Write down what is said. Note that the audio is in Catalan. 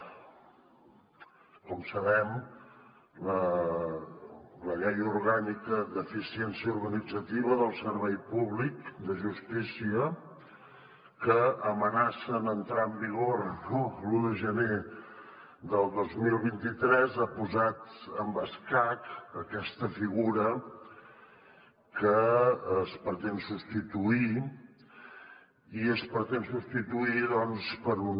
com sabem la llei orgànica d’eficiència organitzativa del servei públic de justícia que amenaça amb entrar en vigor l’un de gener del dos mil vint tres ha posat en escac aquesta figura que es pretén substituir i es pretén substituir per un